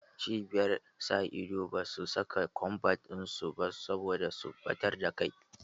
Cibiyar sa ido basu saka kombat in su ba saboda su ɓatar da kai